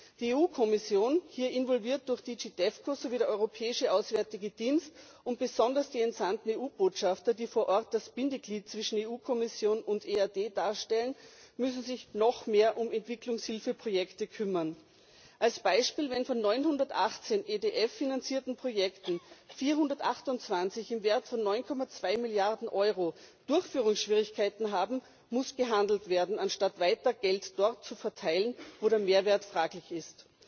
Die EU Kommission, hier involviert durch GD DEVCO, sowie der Europäische Auswärtige Dienst und besonders die entsandten EU Botschafter, die vor Ort das Bindeglied zwischen EU Kommission und EAD darstellen, müssen sich noch mehr um Entwicklungshilfeprojekte kümmern. Als Beispiel Wenn von 918 EDF finanzierten Projekten 428 im Wert von 9,2 Milliarden Euro Durchführungsschwierigkeiten haben, muss gehandelt werden, anstatt weiter Geld dort zu verteilen, wo der Mehrwert fraglich ist.